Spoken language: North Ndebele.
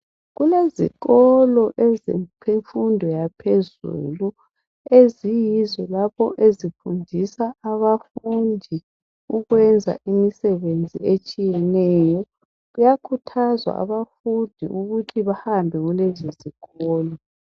Kulezikolo ezifundisa abafundi abasezingeni eliphezulu, lezi zifundi zifindiswa umsebenzi wezandla ukwenzela ukuthi babekwazi ngakho izifundi ziyakhuthazwa ukuba zihambe kulezo zifundi.